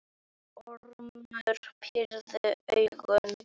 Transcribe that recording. Ormur pírði augun.